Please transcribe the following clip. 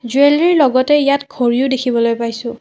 Jewellery ৰ লগতে ইয়াত ঘড়ীও দেখিবলৈ পাইছোঁ।